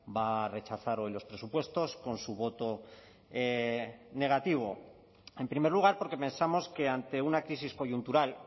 va a rechazar hoy los presupuestos con su voto negativo en primer lugar porque pensamos que ante una crisis coyuntural